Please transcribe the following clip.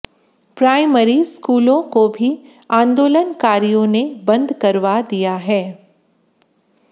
primary स्कूलों को भी आंदोलकारियों ने बंद करवा दिया है